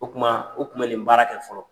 O kuma u kun bɛ nin baara kɛ fɔlɔ.